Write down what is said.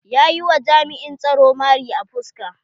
Ya yi wa jami'in tsaro mari a fuska.